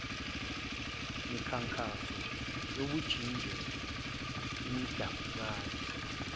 mikhankaso yobunjiniyela imbandakanya